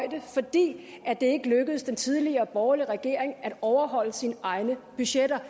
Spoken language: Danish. ni er det ikke lykkedes den tidligere borgerlige regering at overholde sine egne budgetter